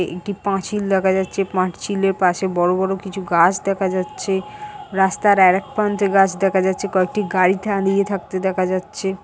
এটি পাঁচিল দেখা যাচ্ছে পাঁচিলের পাশে বড়ো বড়ো কিছু গাছ দেখা যাচ্ছে রাস্তার আরেক প্রান্তে গাছ দেখা যাচ্ছে কয়েকটি গাড়ি দাঁড়িয়ে থাকতে দেখা যাচ্ছে।